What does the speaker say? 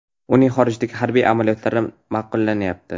Uning xorijdagi harbiy amaliyotlari ma’qullanyapti.